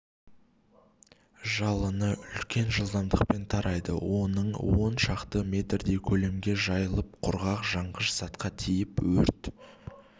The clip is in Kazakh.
жалыны үлкен жылдамдықпен тарайды оның он шақты метрдей көлемге жайылып құрғақ жанғыш затқа тиіп өрт